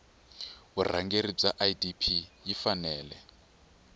vurhangeri bya idp yi fanele